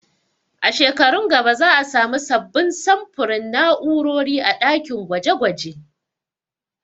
A shekarun gaba za a samu sabbin samfurin na'urori a ɗakin gwaje gwaje